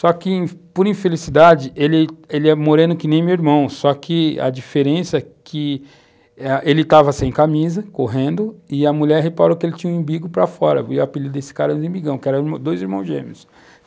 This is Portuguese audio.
Só que, por infelicidade, ele, ele é moreno que nem meu irmão, só que a diferença é que ele estava sem camisa, correndo, e a mulher reparou que ele tinha um umbigo para fora, e o apelido desse cara era de Imbigão, que eram dois irmãos gêmeos.